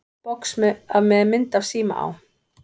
Box með mynd af síma á.